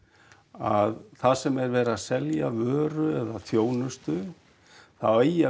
að þar sem er verið að selja vöru eða þjónustu þá eigi að